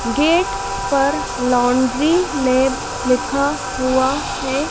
Gate पर laundry lab लिखा हुआ है।